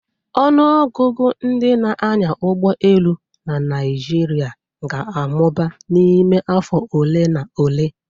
Ọnụ ọgụgụ ndị na-anya ụgbọ elu na Naijiria ga-amụba n'ime afọ ole na ole